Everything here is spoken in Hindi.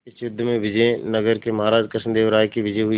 इस युद्ध में विजय नगर के महाराज कृष्णदेव राय की विजय हुई